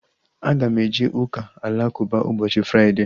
Aga m eje ụka alakụba ụbọchị Fraịdee